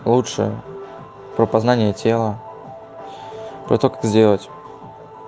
лучше про познание тела про то как сделать